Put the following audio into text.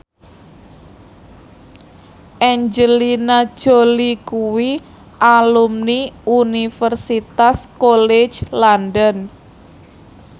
Angelina Jolie kuwi alumni Universitas College London